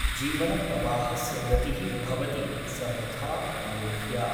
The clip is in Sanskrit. जीवनप्रवाहस्य गतिः भवति सर्वथा अनूह्या ।